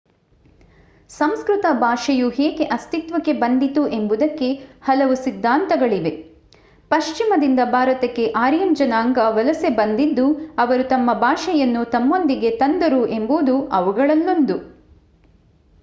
ಸಂಸ್ಕೃತ ಭಾಷೆಯು ಹೇಗೆ ಅಸ್ತಿತ್ವಕ್ಕೆ ಬಂದಿತು ಎಂಬುದಕ್ಕೆ ಹಲವು ಸಿದ್ಧಾಂತಗಳಿವೆ ಪಶ್ಚಿಮದಿಂದ ಭಾರತಕ್ಕೆ ಆರ್ಯನ್ ಜನಾಂಗ ವಲಸೆ ಬಂದಿದ್ದು ಅವರು ತಮ್ಮ ಭಾಷೆಯನ್ನು ತಮ್ಮೊಂದಿಗೆ ತಂದರು ಎಂಬುದು ಅವುಗಳಲ್ಲೊಂದು